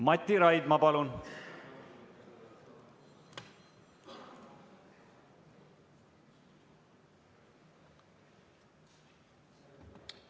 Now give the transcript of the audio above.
Mati Raidma, palun!